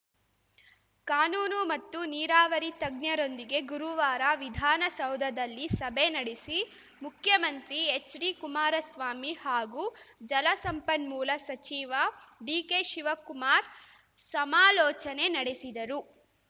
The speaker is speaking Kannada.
ಕಾನೂನು ಮತ್ತು ನೀರಾವರಿ ತಜ್ಞರೊಂದಿಗೆ ಗುರುವಾರ ವಿಧಾನಸೌಧದಲ್ಲಿ ಸಭೆ ನೆಡೆಸಿ ಮುಖ್ಯಮಂತ್ರಿ ಎಚ್‌ಡಿ ಕುಮಾರಸ್ವಾಮಿ ಹಾಗೂ ಜಲ ಸಂಪನ್ಮೂಲ ಸಚಿವ ಡಿಕೆ ಶಿವಕುಮಾರ್‌ ಸಮಾಲೋಚನೆ ನೆಡೆಸಿದರು